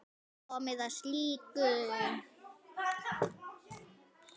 Nóg komið af slíku.